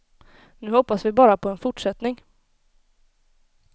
Nu hoppas vi bara på en fortsättning.